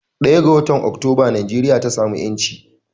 1 ga watan oktoba Nigeria ta samu yanci.